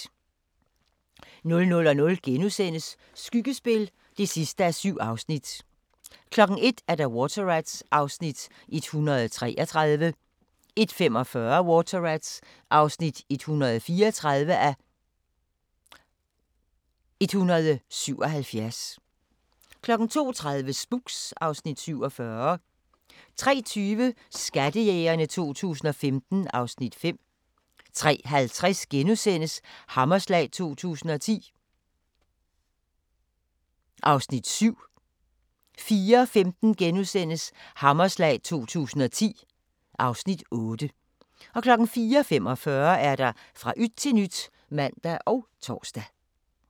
00:00: Skyggespil (7:7)* 01:00: Water Rats (133:177) 01:45: Water Rats (134:177) 02:30: Spooks (Afs. 47) 03:20: Skattejægerne 2015 (Afs. 5) 03:50: Hammerslag 2010 (Afs. 7)* 04:15: Hammerslag 2010 (Afs. 8)* 04:45: Fra yt til nyt (man og tor)